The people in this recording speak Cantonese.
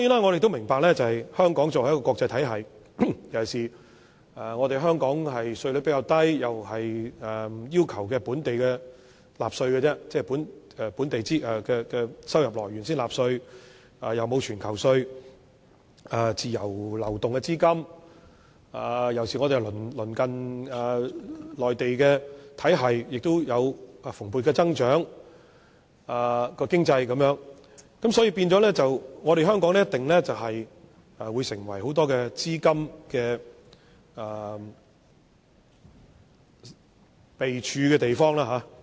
我們都明白，香港作為一個國際金融中心，同時稅率較低，亦只要求公司及個別人士就本地收入來源納稅，並無全球徵稅制度，資金可以自由流動，而我們鄰近的內地及其他地方的經濟體系，經濟亦有蓬勃增長，因此香港定會成為很多資金匯集之地。